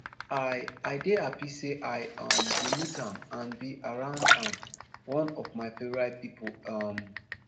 i i dey happy say i um bin meet am and be around am one of my favorite pipo um